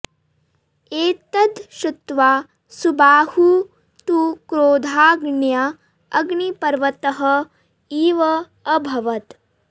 एतद् श्रुत्वा सुबाहुः तु क्रोधाग्न्या अग्निपर्वतः इव अभवत्